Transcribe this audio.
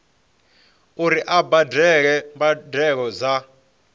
uri a badele mbadelo dza